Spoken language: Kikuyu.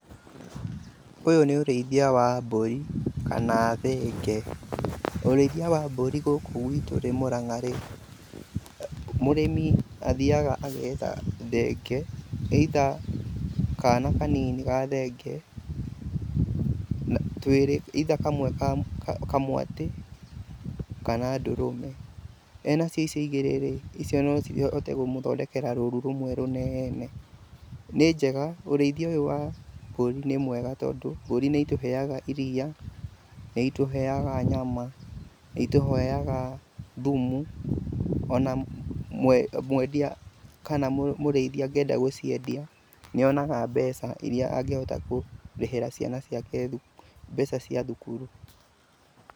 Ũyũ nĩ ũrĩthia wa mbũri kana thenge. Ũrĩithia wa mbũri gũkũ gwĩtũ mũrang'a-rĩ, mũrĩmi athiaga agetha thenge, ĩitha kana kanini ga thenge, twĩrĩ, ĩitha kamwe kamwatĩ kana ndũrũme. Wĩna icio igĩrĩ-rĩ, icio no cihote kũmũthondekera rũru rũmwe rũnene. Nĩ njega, ũrĩithia ũyũ wa mbũri nĩ mwega tondũ, mbũri nĩ itũheaga iriia, nĩ itũheaga nyama, nĩitũheaga thumu ona mwendia kana mũrĩithia angĩenda gũciendia nĩ onaga mbeca irĩa angĩhota kũrĩhĩra ciana ciake thukuru, mbeca cia thukuru.